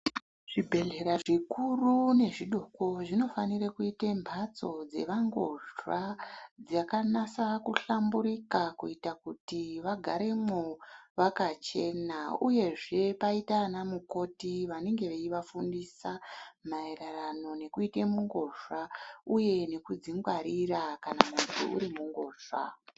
Zvibhedhlera zvikuru nezvidoko zvinofanire kuite mhatso dzevangozva dzakanasa kuhlamburika kuita kuti vagaremwo vakachena uyezve paita ana mukoti vanenge veivafundisa maerwrano nekuite mungozva uge nekudzingwarira kana munhu uri mungozva.